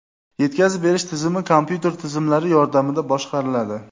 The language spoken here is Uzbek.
Yetkazib berish tizimi kompyuter tizimlari yordamida boshqariladi .